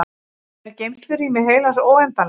er geymslurými heilans óendanlegt